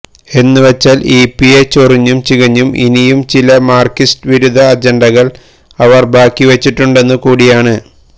എന്നുവെച്ചാൽ E P യെ ചൊറിഞ്ഞും ചികഞ്ഞും ഇനിയും ചില മാര്ക്സിസ്റ്റ് വിരുദ്ധ അജണ്ടകൾ അവർ ബാക്കിവെച്ചിട്ടുണ്ടെന്നുകൂടിയാണ്